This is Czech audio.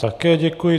Také děkuji.